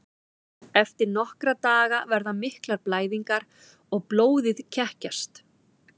Eftir nokkra daga verða miklar blæðingar og blóðið kekkjast.